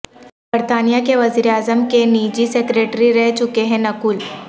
برطانیہ کے وزیر اعظم کے نجی سیکرٹری رہ چکے ہیں نکھل